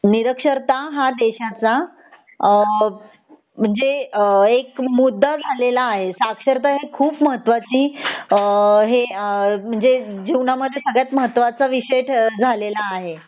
निरक्षरता हा देशाचा अ जे एक मुद्दा आलेला आहे साक्षरता ही खूप महत्वाची अ हे म्हणजे जीवनामध्ये सगळयात महत्वाचा विषय ठ झालेला आहे